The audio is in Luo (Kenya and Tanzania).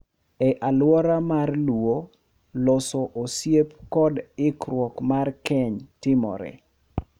E alwora mar Luo, loso osiep kod ikruok mar keny timore .